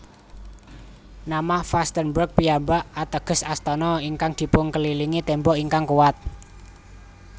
Nama Vastenburg piyambak ateges Astana ingkang dipunkelilingi tembok ingkang kuwat